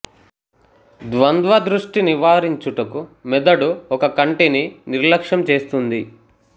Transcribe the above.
ద్వంద్వ దృష్టి నివారించుటకు మెదడు ఒక కంటిని నిర్లక్ష్యం చేస్తుంది